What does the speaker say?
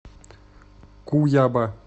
куяба